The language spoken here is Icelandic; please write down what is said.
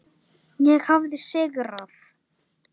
Ég hafði sigrað.